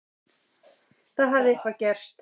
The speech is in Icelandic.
Það hafði eitthvað gerst.